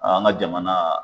An ka jamana